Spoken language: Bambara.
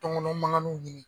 Tɔnkɔnɔn mankanninw ɲini.